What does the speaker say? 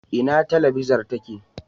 Ina tabilazar take?